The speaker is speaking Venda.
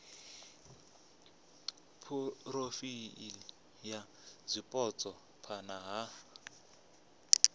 phurofaili ya zwipotso phana ha